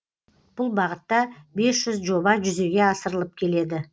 бұл бағытта бес жүз жоба жүзеге асырылып келеді